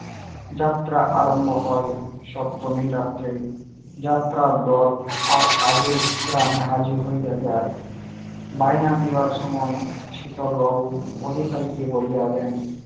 যাত্রা আরম্ভ হয় সপ্তমী রাত্রে। যাত্রা দল তার আগে গ্রামে হাজির হইয়া যায়। বায়না দেবার সময় শীতল বাবু অধিকারীদের বলিয়া দেন